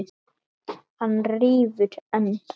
Hann rífur enn.